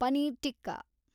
paneer tikka